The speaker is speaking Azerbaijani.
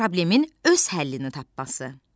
Problemin öz həllini tapması.